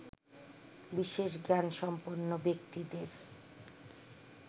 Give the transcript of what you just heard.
বিশেষ জ্ঞান সম্পন্ন ব্যক্তিদের